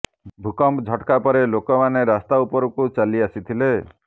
ଭୂକମ୍ପ ଝଟ୍କା ପରେ ଲୋକମାନେ ରାସ୍ତା ଉପରକୁ ଚାଲି ଆସିଥିଲେ